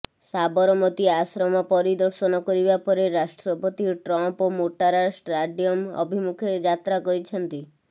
ସାବରମତି ଆଶ୍ରମ ପରିଦର୍ଅଶନ କରିବା ପରେରାଷ୍ଟ୍ରପତି ଟ୍ରମ୍ପ ମୋଟାରା ଷ୍ଟାଡିୟମ ଅଭିମୁଖେ ଯାତ୍ରା କରିଛନ୍ତି